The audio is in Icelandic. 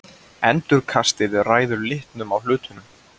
Endurkastið ræður litnum á hlutnum.